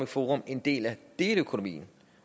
forum en del af deleøkonomien